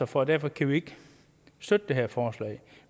for og derfor kan vi ikke støtte det her forslag